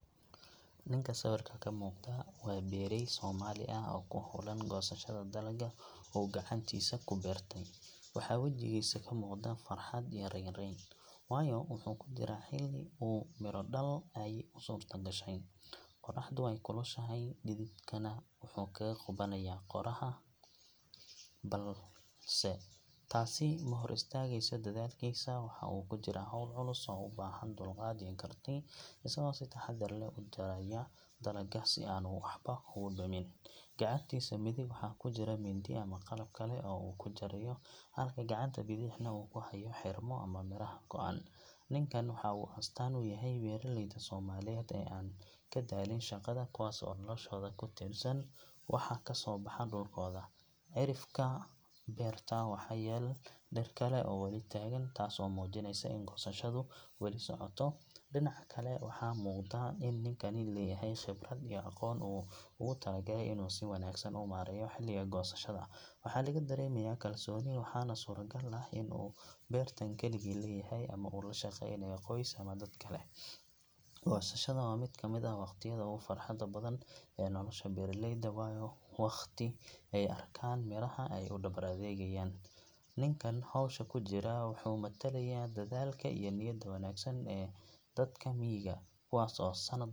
Ninka sawirka ka muuqda waa beerey Soomaali ah oo ku hawlan goosashada dalagga uu gacantiisa ku beertay. Waxaa wejigiisa ka muuqda farxad iyo raynrayn, waayo wuxuu ku jiraa xilli uu miro-dhal ay u suurtogashay. Qorraxdu way kulushahay, dhididkana wuxuu kaga qubanayaa qooraha, balse taasi ma hor istaagayso dadaalkiisa. Waxa uu ku jiraa hawl culus oo u baahan dulqaad iyo karti, isagoo si taxadar leh u jaraya dalagga si aanu waxba ugu dhimin. Gacantiisa midig waxaa ku jira mindi ama qalab kale oo uu ku jarayo, halka gacanta bidixna uu ku hayo xidhmo ama miraha go’an. Ninkan waxa uu astaan u yahay beeraleyda Soomaaliyeed ee aan ka daalin shaqada, kuwaas oo noloshooda ku tiirsan waxa ka soo baxa dhulkooda. Cidhifka beerta waxaa yaal dhir kale oo weli taagan, taas oo muujinaysa in goosashadu weli socoto. Dhinaca kale waxaa muuqda in ninkani leeyahay khibrad iyo aqoon uu ugu talagalay inuu si wanaagsan u maareeyo xilliga goosashada. Waxaa laga dareemayaa kalsooni, waxaana suuragal ah in uu beertan kaligii leeyahay ama uu la shaqaynayo qoys ama dad kale. Goosashada waa mid ka mid ah waqtiyada ugu farxadda badan ee nolosha beeraleyda, waayo waa wakhti ay arkaan midhaha ay u dhabar adaygeen. Ninkan hawsha ku jira wuxuu matalayaa dadaalka iyo niyadda wanaagsan ee dadka miyiga, kuwaas oo sannad .